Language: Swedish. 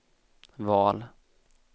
val